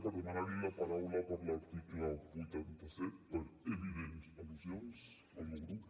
per demanar li la paraula per l’article vuitanta set per evidents al·lusions al meu grup